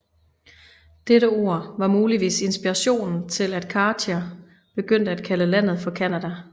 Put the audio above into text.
Dette ord var muligvis inspirationen til at Cartier begyndte at kalde landet for Canada